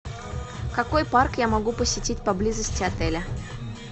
какой парк я могу посетить поблизости отеля